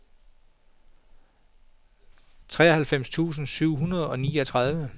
treoghalvfjerds tusind syv hundrede og niogtredive